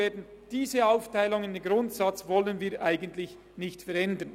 Daran möchten wir grundsätzlich nichts ändern.